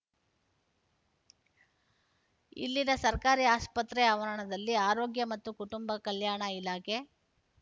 ಇಲ್ಲಿನ ಸರ್ಕಾರಿ ಆಸ್ಪತ್ರೆ ಆವರಣದಲ್ಲಿ ಆರೋಗ್ಯ ಮತ್ತು ಕುಟುಂಬ ಕಲ್ಯಾಣ ಇಲಾಖೆ